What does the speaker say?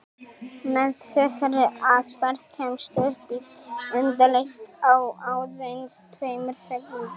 Með þessari aðferð kemstu upp í endalaust á aðeins tveimur sekúndum!